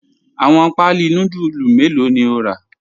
Awọn paalí núdùlù mẹlọ̀ ni o ra?